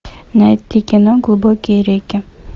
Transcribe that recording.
найти кино глубокие реки